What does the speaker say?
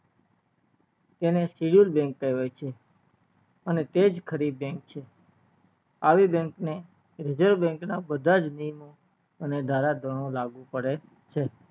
તેને bank કહેવાય છે અને તેજ ખરી bank છે આવી bank ને reserve bank ના બધાજ નિયમો અને ધારા ગણો લાગુ પડે છે છે